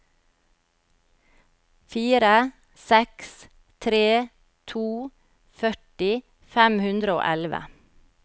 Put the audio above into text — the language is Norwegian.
fire seks tre to førti fem hundre og elleve